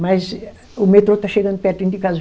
Mas o metrô está chegando pertinho de casa.